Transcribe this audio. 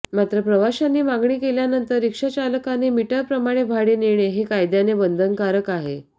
मात्र प्रवाशांनी मागणी केल्यानंतर रिक्षाचालकाने मीटरप्रमाणे भाडे नेणे हे कायद्याने बंधनकारक आहे